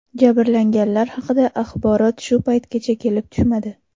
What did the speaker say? Jabrlanganlar haqida axborot shu paytgacha kelib tushmadi.